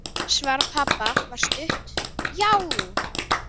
Svar pabba var stutt: Já!